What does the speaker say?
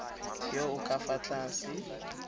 yo o ka fa tlase